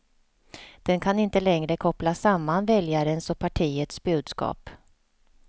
Den kan inte längre koppla samman väljarens och partiets budskap.